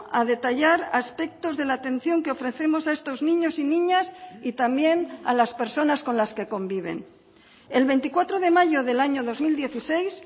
a detallar aspectos de la atención que ofrecemos a estos niños y niñas y también a las personas con las que conviven el veinticuatro de mayo del año dos mil dieciséis